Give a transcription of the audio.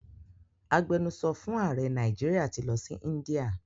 Agbenusọ fún ààrẹ Nàìjíríà ti lọ sí India.